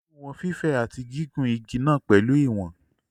Olú wọn fífẹ̀ àti gígùn igi náà pẹ̀lú ìwọ̀n.